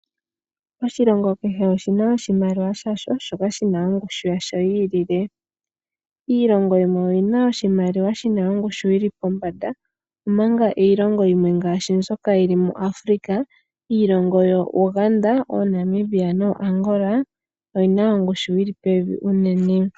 Oshilingo kehe oshina oshimaliwa shasho shoka shina ongushu yasho yiilile. Iilongo yimwe oyina iimaliwa yina ongushu yili pombanda omanga iilongo yimwe mbyoka yili moAfrika ngaashi oUganda, Namibia nooAngola oyina ongushu yili pevi uunene.